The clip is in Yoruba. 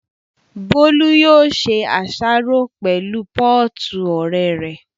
Bólú yóò ṣe àsáró pẹ̀lú pọ́ọ̀tù ọ̀rẹ́ rẹ̀